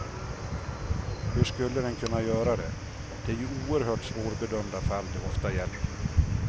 Hur skulle den kunna göra det, det är ju oerhört svårbedömda fall det ofta gäller.